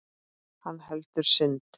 Hann heldur synd